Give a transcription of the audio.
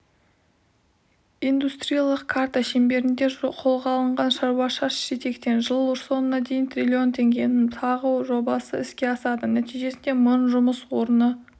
индустриялық карта шеңберінде қолға алынған шаруа шаш етектен жыл соңына дейін трлн теңгенің тағы жобасы іске асады нәтижесінде мың жұмыс орны